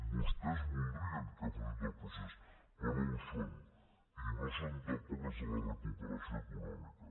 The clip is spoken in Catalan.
vostès voldrien que fossin del procés però no ho són i no són tampoc els de la recuperació econòmica